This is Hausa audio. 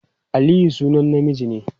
Aliyu sunan namiji ne.